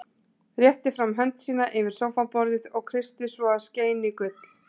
Rétti fram hönd sína yfir sófaborðið og brosti svo að skein í gull.